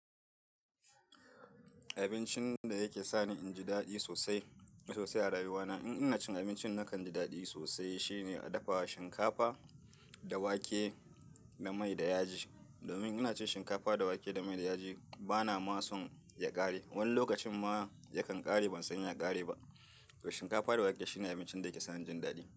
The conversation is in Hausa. Abincin da yake sani inji daɗi sosai, sosai a rayuwa na in ina cin abincin nakan ji daɗi sosai shine a dafa shinkafa da wake da mai da yaji. Domin ina cin shinkafa da wake da mai da yaji bana ma son ya ƙare. Wani lokacin ma ya kan ƙare ban sani ya ƙare ba. To shinkafa da wake shine abincin da yake sani inji daɗi.